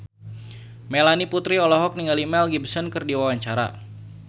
Melanie Putri olohok ningali Mel Gibson keur diwawancara